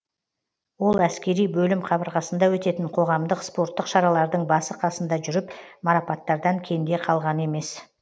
ол әскери бөлім қабырғасында өтетін қоғамдық спорттық шаралардың басы қасында жүріп марапаттардан кенде қалған емес